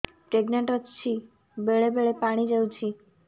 pregnant ଅଛି ବେଳେ ବେଳେ ପାଣି ଯାଉଛି